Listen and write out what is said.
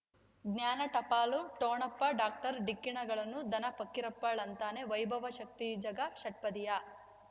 ಜ್ಞಾನ ಟಪಾಲು ಠೊಣಪ ಡಾಕ್ಟರ್ ಢಿಕ್ಕಿ ಣಗಳನು ಧನ ಫಕೀರಪ್ಪ ಳಂತಾನೆ ವೈಭವ್ ಶಕ್ತಿ ಝಗಾ ಷಟ್ಪದಿಯ